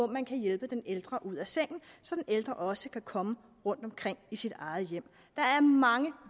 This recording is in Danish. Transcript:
man kan hjælpe den ældre ud af sengen så den ældre også kan komme omkring i sit eget hjem der er mange